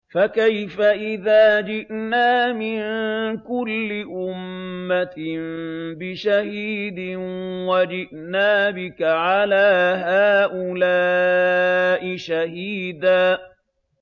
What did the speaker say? فَكَيْفَ إِذَا جِئْنَا مِن كُلِّ أُمَّةٍ بِشَهِيدٍ وَجِئْنَا بِكَ عَلَىٰ هَٰؤُلَاءِ شَهِيدًا